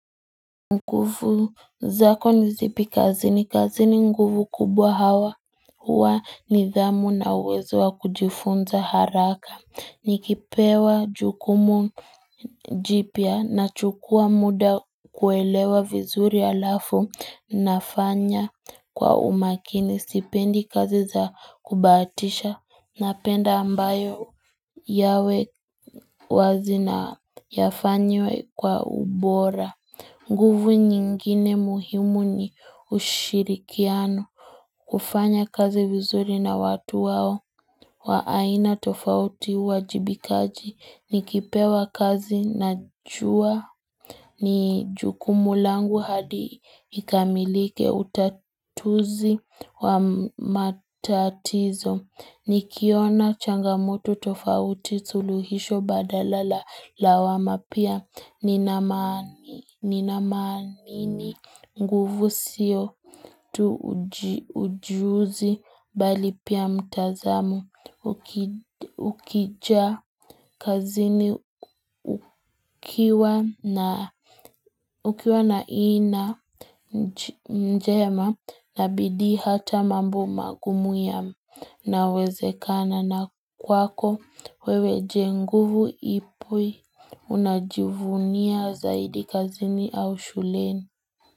Nguvu zako nizipi kazi ni kazi ni nguvu kubwa hawa huwa ni dhamu na uwezo wa kujifunza haraka Nikipewa jukumu jipia na chukua muda kuelewa vizuri alafu nafanya kwa umakini stipendi kazi za kubatisha na penda ambayo yawe wazi na yafanywe kwa ubora nguvu nyingine muhimu ni ushirikiano kufanya kazi vizuri na watu wao waaina tofauti wajibikaji ni kipewa kazi na jua ni juku mulangu hadi ikamilike utatuzi wa matatizo. Nikiona changamutu tofauti suluhisho badala lawama pia ninamani nguvu sio tu ujuzi bali pia mtazamu ukija kazini ukiwa naina mjema na bidi hata mambu magumu ya nawezekana na ukiwa. Kwako wewe jenguvu ipui unajivunia zaidi kazini au shuleni.